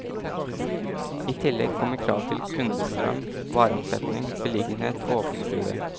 I tillegg kommer krav til kundestrøm, vareomsetning, beliggenhet og åpningstider.